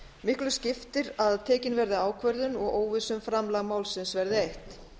miklu skiptir að tekin verði ákvörðun og óvissu um framgang málsins verði eytt